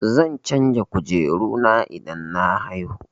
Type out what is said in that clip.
Zan canja kujeru na idan na haihu.